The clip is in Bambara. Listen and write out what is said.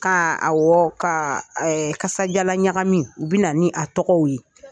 Ka awɔ ka kasajalan ɲagamiw , u bi na ni a tɔgɔw ye.